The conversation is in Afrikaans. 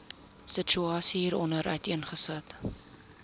situasie hieronder uiteengesit